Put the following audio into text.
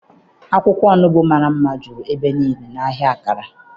Akwụkwọ onubu amara ama juru ebe niile n'ahịa kara.